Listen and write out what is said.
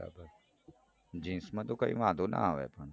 બરાબર જીન્સમાંતો કાંઈ વાંધો ના આવે પણ